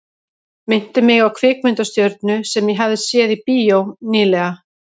Minnti mig á kvikmyndastjörnu sem ég hafði séð í bíó ný- lega.